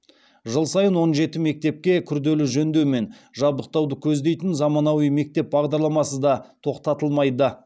жыл сайын он жеті мектепке күрделі жөндеу мен жабдықтауды көздейтін заманауи мектеп бағдарламасы да тоқтатылмайды